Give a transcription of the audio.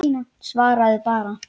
Svaraðu bara.